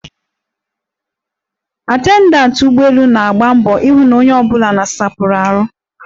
Atendantị ụgbọelu na-agba mbọ ihụ na onye ọbụla nosapụrụ ahụ.